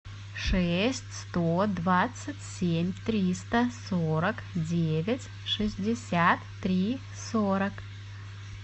шесть сто двадцать семь триста сорок девять шестьдесят три сорок